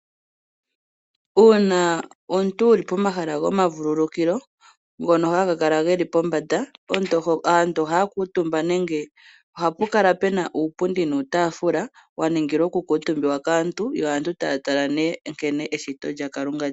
Uuna omuntu wuli pomahala gomavululikilo ngono haga kala pombanda. Aantu ohaya kuutumba nenge oha pukala puna uupuni nuutaafula waningilwa oku kuutumbwa kaantu yo aantu taya tala nee nkene eshito lyaKalunga lili.